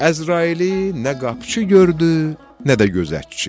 Əzraili nə qapçı gördü, nə də gözətçi.